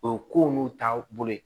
O ye ko n'u taabolo ye